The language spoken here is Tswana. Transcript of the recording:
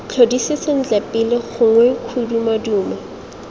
tlhodise sentle pele gongwe kgodumodumo